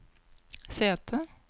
sete